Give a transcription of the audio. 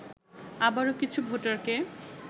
আবারও কিছু ভোটারকে